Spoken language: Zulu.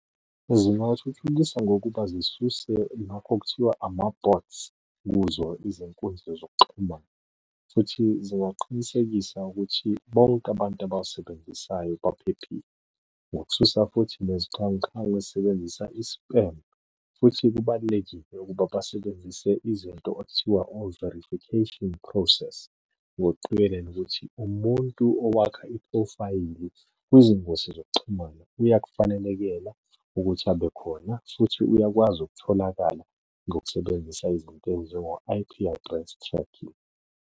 Zingathuthukisa ngokuba sisuse lokho okuthiwa ama-bots kuzo izinkundla zokuxhumana, futhi zingaqinisekisa ukuthi bonke abantu abawasebenzisayo baphephile. Ngokususa futhi nezixhwanguxhwangu ezisebenzisa i-spam futhi kubalulekile ukuba basebenzise izinto okuthiwa o-verification process, ngokuqikelela ukuthi umuntu owakha iphrofayili kwezingosi zokuxhumana uyakufanelekela ukuthi abe khona, futhi uyakwazi ukutholakala ngokusebenzisa izinto ey'njengo-I_P address tracking.